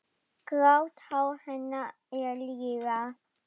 Grátt hár hennar er liðað.